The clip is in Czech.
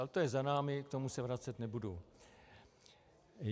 Ale to je za námi, k tomu se vracet nebudu.